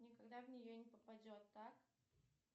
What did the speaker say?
никогда в нее не попадет так